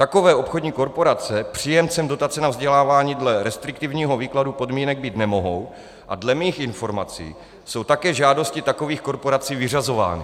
Takové obchodní korporace příjemcem dotace na vzdělávání dle restriktivního výkladu podmínek být nemohou a dle mých informací jsou také žádosti takových korporací vyřazovány.